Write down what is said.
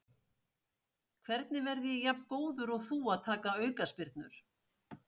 Hvernig verð ég jafn góður og þú að taka aukaspyrnur?